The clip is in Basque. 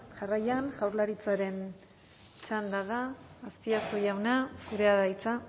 jarraian jaurlaritzaren txanda da azpiazu jauna zurea da hitza